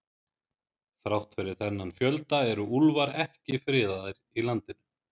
Þrátt fyrir þennan fjölda eru úlfar ekki friðaðir í landinu.